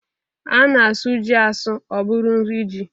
A na-asụ ji asụ ọ bụrụ nri ji.